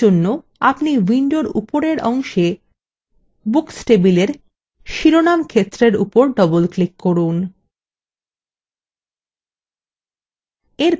এর জন্য আপনি window উপরের অংশে books table শিরোনাম ক্ষেত্রের upper double click করুন